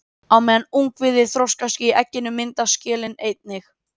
Á meðan ungviðið þroskast í egginu myndast skelin einnig.